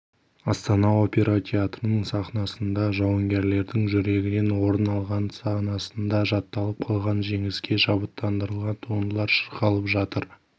астана опера театрының сахнасында жауынгерлердің жүрегінен орын алған санасында жатталып қалған жеңіске шабыттандырған туындылар шырқалып жатыр